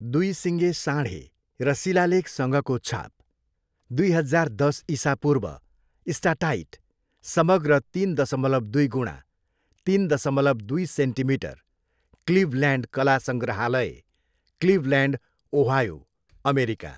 दुई सिङ्गे साँढे र शिलालेखसँगको छाप, दुई हजार दस इसापूर्व, स्टाटाइट, समग्र तिन दसमलव दुई गुणा, तिन दसमलव दुई सेन्टिमिटर, क्लिभल्यान्ड कला सङ्ग्रहालय क्लिभल्यान्ड, ओहायो, अमेरिका।